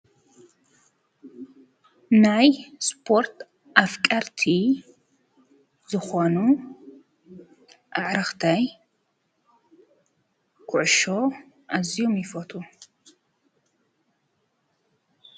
ናይ ስፖርት ኣፍቀርቲ ዝኾኑ ኣዕርኽተይ ኩዕሾ ኣዝዮም ይፈትዉ ።